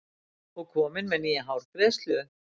Og komin með nýja hárgreiðslu.